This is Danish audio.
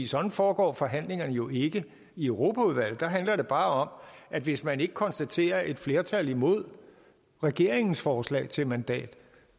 sådan foregår forhandlingerne jo ikke i europaudvalget der handler det bare om at hvis man ikke konstaterer et flertal imod regeringens forslag til et mandat